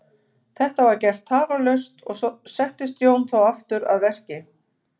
Þetta var gert tafarlaust og settist Jón þá aftur að verki.